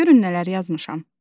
Görün nələr yazmışam.